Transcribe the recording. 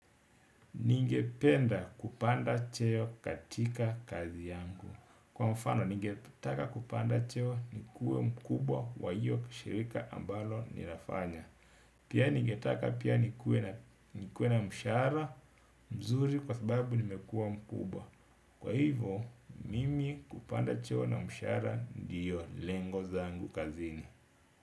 Ningependa kupanda cheo katika kazi yangu. Kwa mfano, ningetaka kupanda cheo ni kue mkubwa wa hiyo shirika ambalo ninafanya. Pia ningetaka pia nikue na mshara mzuri kwa sababu nimekua mkubwa. Kwa hivo, mimi kupanda cheo na mshara ndiyo lengo zangu kazini.